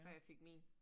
Før jeg fik min